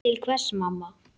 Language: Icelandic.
Til hvers mamma?